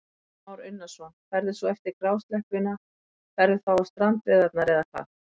Kristján Már Unnarsson: Ferðu svo eftir grásleppuna, ferðu þá á strandveiðarnar eða hvað?